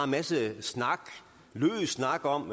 masse snak løs snak om